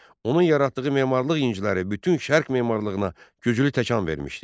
Onun yaratdığı memarlıq inciləri bütün Şərq memarlığına güclü təkan vermişdi.